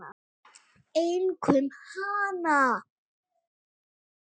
Einkum hana.